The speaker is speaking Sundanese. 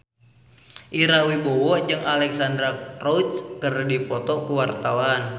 Ira Wibowo jeung Alexandra Roach keur dipoto ku wartawan